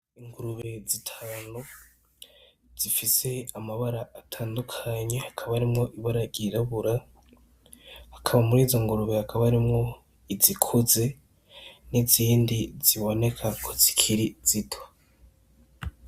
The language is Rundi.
Ingurube zitanu zikaba zifise amabara atandukanye hakaba harimwo ibara iryirabura murizo ngurube hakaba harimwo izikuze n' izindi ziboneka ko zikiri zito.